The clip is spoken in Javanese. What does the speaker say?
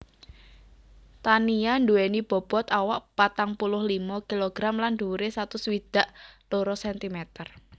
Tania duweni bobot awak patang puluh limo kilogram lan dhuwure satus swidak loro centimeter